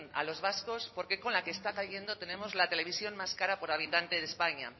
a los vascos por qué con la que está cayendo tenemos la televisión más cara por habitante de españa